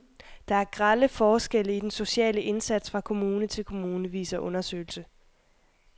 Der er grelle forskelle i den sociale indsats fra kommune til kommune, viser undersøgelse.